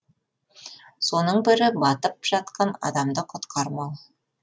соның бірі батып жатқан адамды құтқармау